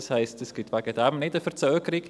Das heisst, es gibt deshalb keine Verzögerung.